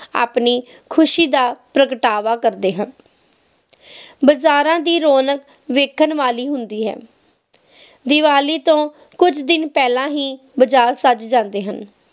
ਆਪਣੀ ਖੁਸ਼ੀ ਦਾ ਪ੍ਰਗਟਾਵਾ ਕਰਦੇ ਹਨ ਬਾਜ਼ਾਰਾਂ ਦੀ ਰੌਣਕ ਦੇਖਣ ਵਾਲੀ ਹੁੰਦੀ ਹੈ ਦੀਵਾਲੀ ਤੋਂ ਕੁਜ ਦਿਨ ਪਹਿਲਾ ਹੀ ਬਜਾਰ ਸੱਜ ਜਾਂਦੇ ਹਨ